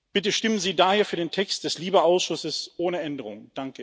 Bitte stimmen Sie daher für den Text des LIBE Ausschusses ohne Änderungen!